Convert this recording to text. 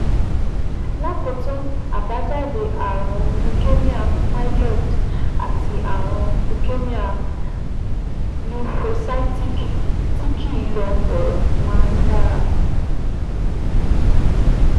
Lákòótán, àbájáde ààrùn leukemia myeloid àti ààrùn leukemia lymphocytic tí kìí lọ bọ̀rọ̀ máa ń dára